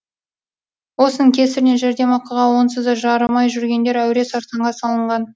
осының кесірінен жәрдемақыға онсыз да жарымай жүргендер әуре сарсаңға салынған